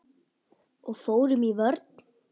Og fórum í vörn.